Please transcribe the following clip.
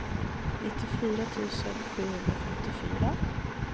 nittiofyra tusen sjuhundrafemtiofyra